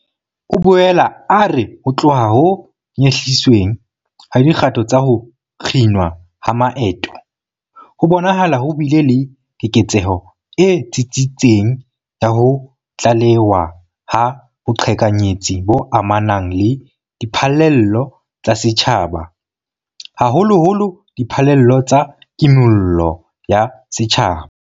O boela a re ho tloha ho nyehlisweng ha dikgato tsa ho kginwa ha maeto, ho bonahala ho bile le keketseho e tsitsitseng ya ho tlalewa ha boqhekanyetsi bo amanang le diphallelo tsa setjhaba, haholoholo diphallelo tsa Kimollo ya Setjhaba.